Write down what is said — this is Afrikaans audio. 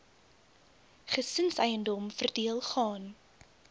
gesinseiendom verdeel gaan